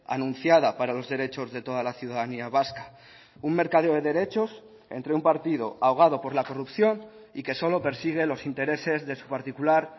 anunciada para los derechos de toda la ciudadanía vasca un mercadeo de derechos entre un partido ahogado por la corrupción y que solo persigue los intereses de su particular